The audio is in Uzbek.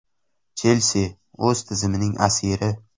“Chelsi” o‘z tizimining asiri.